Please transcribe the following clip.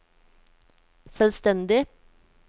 selvstendig